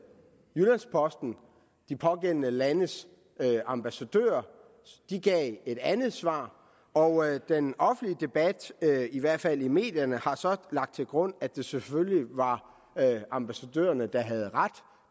jyllands posten de pågældende landes ambassadører og de gav et andet svar og den offentlige debat i hvert fald i medierne har så lagt til grund at det selvfølgelig var ambassadørerne der havde ret